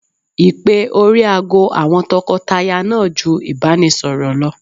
Ìpè orí aago àwọn tọkọtaya náà ju ìbánisọ̀rọ̀ lọ.